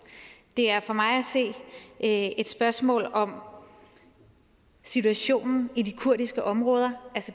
det er for mig at se et spørgsmål om situationen i de kurdiske områder